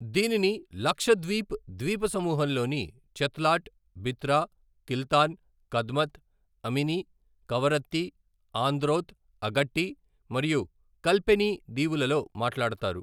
దీనిని లక్షద్వీప్ ద్వీపసమూహంలోని చెత్లాట్, బిత్రా, కిల్తాన్, కద్మత్, అమిని, కవరత్తి, ఆంద్రోత్, అగట్టి మరియు కల్పెని దీవులలో మాట్లాడతారు.